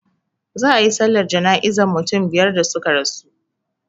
Za a yi sallar jana'izan mutum biyar da suka rasu,